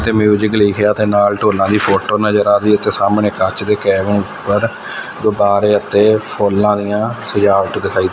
ਤੇ ਮਿਊਜਿਕ ਲਿਖਿਆ ਤੇ ਨਾਲ ਡੋਲਾ ਦੀ ਫੋਟੋ ਨਜ਼ਰ ਆ ਰਹੀ ਇਥੇ ਸਾਹਮਣੇ ਕੱਚ ਦੇ ਊਪਰ ਗੁਬਬਾਰੇ ਅਤੇ ਫੁੱਲਾਂ ਦੀਆਂ ਸਜਾਵਟ ਦਿਖਾਈ--